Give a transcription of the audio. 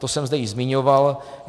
To jsem zde již zmiňoval.